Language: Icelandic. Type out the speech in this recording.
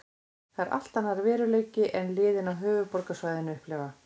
Þetta er allt annar veruleiki en liðin á höfuðborgarsvæðinu upplifa.